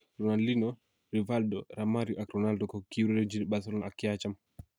Ronaldinho, Rivaldo, Romario ak Ronaldo ko kiurerenchi Barcelona ak ki acham